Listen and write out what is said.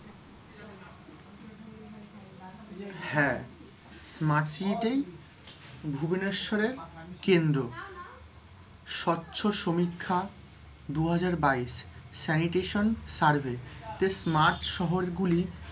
হ্যাঁ, smart city তেই ভুবনেশ্বরের কেন্দ্র, স্বচ্ছ সমীক্ষা, দুহাজার বাইশ, sanitation survey তে স্মার্ট শহর গুলি,